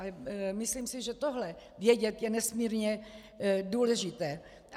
A myslím si, že tohle vědět je nesmírně důležité.